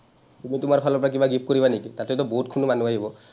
তুমি তোমাৰ ফালৰ পৰা কিবা gift কৰিবা নেকি, তাতেটো বহুতখিনি মানুহ আহিব।